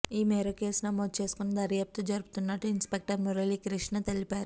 ఈ మేరకు కేసు నమోదు చేసుకొని దర్యాప్తు జరుపుతున్నట్టు ఇన్స్పెక్టర్ మురళీకృష్ణ తెలిపారు